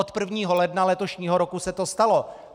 Od 1. ledna letošního roku se to stalo.